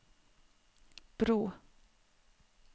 bro